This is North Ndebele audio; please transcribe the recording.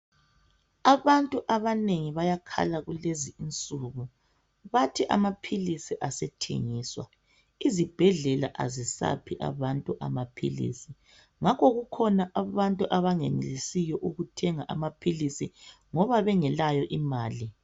Abantu abanengi bayakhala kulezinsuku bathi amaphilisi asethengiswa izibhedlela azisaphi abantu amaphilisi ngakho kukhona abantu abangenelisiyo ukuthenga amaphilisi ngoba bengelayo imali.